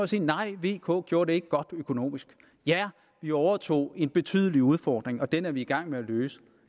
sige nej vk gjorde det ikke godt økonomisk vi overtog en betydelig udfordring og den er vi i gang med at løse